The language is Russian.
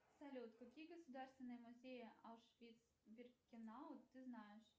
салют какие государственные музеи аушвиц биркенау ты знаешь